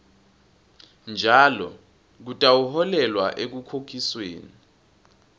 njalo kutawuholela ekukhokhisweni